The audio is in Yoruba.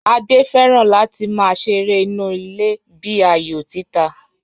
Adé fẹ́ràn láti máa ṣeré inú ilé bíi ayò títa